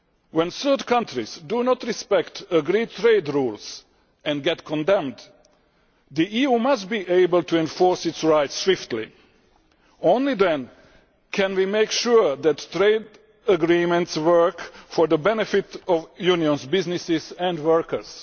When third countries do not respect agreed trade rules and are condemned for this, the EU must be able to enforce its rights swiftly. Only then can we make sure that trade agreements work for the benefit of unions, businesses and workers.